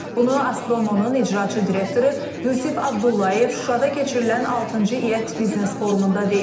Bunu Azpromo-nun icraçı direktoru Yusif Abdullayev Şuşada keçirilən altıncı ET biznes forumunda deyib.